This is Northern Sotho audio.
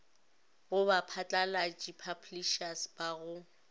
go baphatlalatši publishers ba go